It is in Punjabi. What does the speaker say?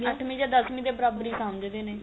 ਅੱਠਵੀ ਜਾਂ ਦੱਸਵੀ ਦੇ ਬਰਾਬਰ ਹੀ ਸਮਝਦੇ ਨੇ